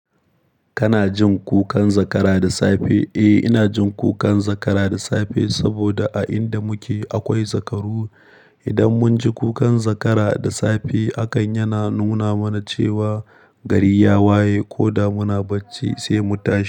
Kana jin kukan zakara da safe? Eh, ina jin kukan zakara da safe saboda a inda muke akwai zakaru. Idan mun ji kukan zakara da safe, hakan yana nuna mana cewa gari ya waye ko da muna bacci sai mu tashi.